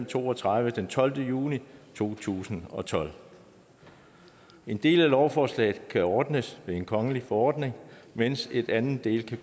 to og tredive af tolvte juni to tusind og tolv en del af lovforslaget kan ordnes ved en kongelig forordning mens en anden del